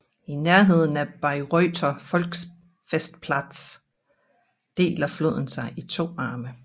I nærheden af Bayreuther Volksfestplatz deler floden sig i to arme